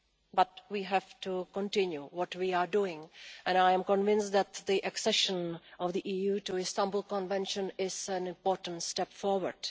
But we have to continue what we are doing and I am convinced that the accession of the EU to the Istanbul Convention is an important step forward.